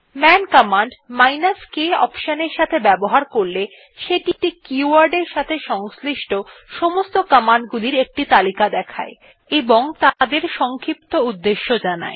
মান command k option এর সাথে ব্যবহার করলে সেটি একটি keyword এর সাথে সংশ্লিষ্ট সমস্ত কমান্ড গুলির একটি তালিকা দেয় এবং তাদের সংক্ষিপ্ত উদ্দেশ্যে জানায়